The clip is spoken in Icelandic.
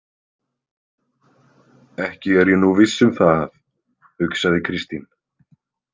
Ekki er ég nú viss um það, hugsaði Kristín.